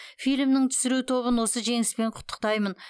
фильмнің түсіру тобын осы жеңіспен құттықтаймын